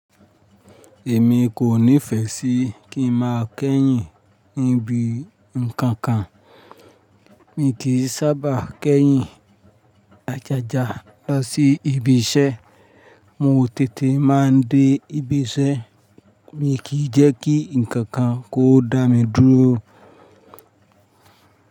Èmi kò nífẹ́ sí kí n má a kẹ́yìn níbi ǹkan kan. Mi kì í sábà kẹ́yìn ajaja lọ sí ibi iṣẹ́. Mo tètè má a dé ibi iṣẹ́. Mi kì í jẹ́ kí ǹkan kan kó dá mi dúró.